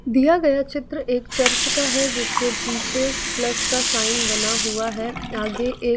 दिया गया चित्र एक चर्च का है जिसके पीछे प्लस का साइन बना हुआ है आगे एक--